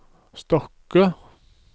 Stokke